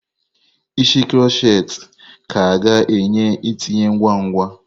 Isi kroshet ka ga-enye ntinye ngwa ngwa.